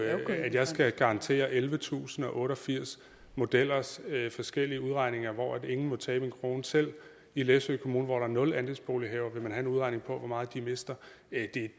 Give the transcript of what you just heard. at jeg skal garantere ellevetusinde og otteogfirs modellers forskellige udregninger hvor ingen må tabe en krone selv i læsø kommune hvor der er nul andelsbolighavere vil man have en udregning på hvor meget de mister